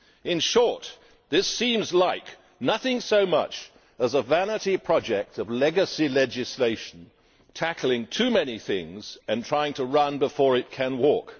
In short, this seems like nothing so much as a vanity project of legacy legislation, tackling too many things and trying to run before it can walk.